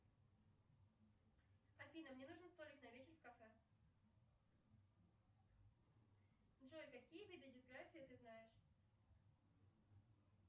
афина мне нужен столик на вечер в кафе джой какие виды дисграфии ты знаешь